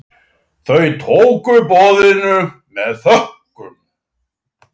Þau tóku boðinu með þökkum.